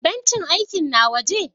Bencin aikin na waje?